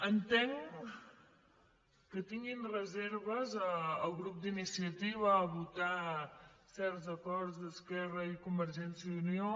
entenc que tinguin reserves el grup d’iniciativa a votar certs acords d’esquerra i convergència i unió